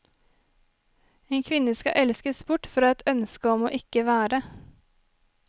En kvinne skal elskes bort fra et ønske om ikke å være.